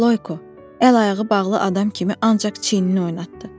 Loyko, əl ayağı bağlı adam kimi ancaq çiynini oynatdı.